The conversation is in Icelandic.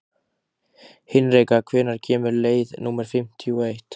Hinrika, hvenær kemur leið númer fimmtíu og eitt?